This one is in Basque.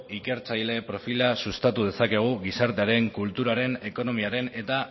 ikertzaile profila sustatu dezakegu gizartearen kulturaren ekonomiaren eta